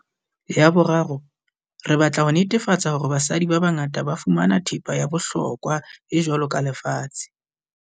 Ya boraro, re batla ho netefa-tsa hore basadi ba bangata ba fumana thepa ya bohlokwa e jwalo ka lefatshe.